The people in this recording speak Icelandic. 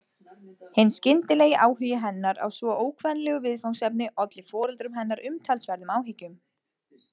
Hinn skyndilegi áhugi hennar á svo ókvenlegu viðfangsefni olli foreldrum hennar umtalsverðum áhyggjum.